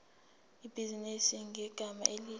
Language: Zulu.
ibhizinisi ngegama elithi